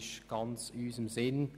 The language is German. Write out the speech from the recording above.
Diese ist ganz in unserem Sinn.